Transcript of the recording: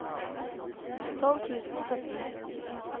tolv tusen og sytten